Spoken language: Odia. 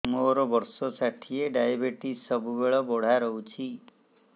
ମୋର ବର୍ଷ ଷାଠିଏ ଡାଏବେଟିସ ସବୁବେଳ ବଢ଼ା ରହୁଛି